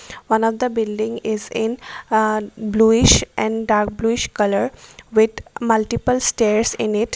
One of the building is in uh bluish and dark bluish colour with multiple stairs in it.